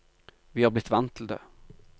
Vi har blitt vant til det.